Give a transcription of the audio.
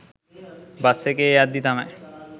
bus එකේ යද්දී තමයි